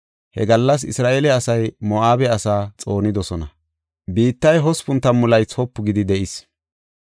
He gallas Isra7eele asay Moo7abe asaa xoonidosona. Biittay hospun tammu laythi wopu gidi de7is.